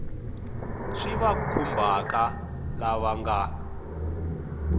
swi va khumbhaka lava nga